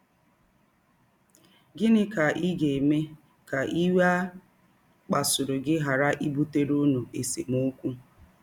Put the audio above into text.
Gịnị ka ị ga - eme ka iwe a kpasụrụ gị ghara ibụtere ụnụ esemọkwụ?